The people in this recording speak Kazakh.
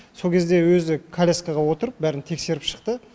сол кезде өзі коляскаға отырып бәрін тексеріп шықты